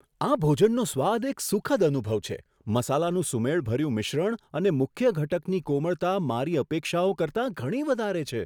આ ભોજનનો સ્વાદ એક સુખદ અનુભવ છે, મસાલાનું સુમેળભર્યું મિશ્રણ અને મુખ્ય ઘટકની કોમળતા, મારી અપેક્ષાઓ કરતાં ઘણી વધારે છે.